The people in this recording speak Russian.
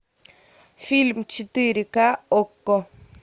фильм четыре ка окко